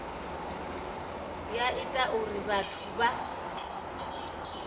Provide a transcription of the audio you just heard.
ya ita uri vhathu vha